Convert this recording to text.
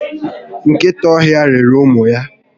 Nkịta ọhịa riri ụmụ ya